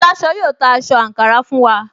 Aláṣọ yóò ta aṣọ àǹkárá fún wa